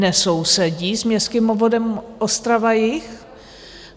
Nesousedí s městským obvodem Ostrava-Jih.